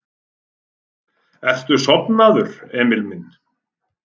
Ertu sofnaður, Emil minn?